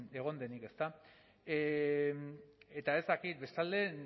egon denik ezta eta ez dakit bestalde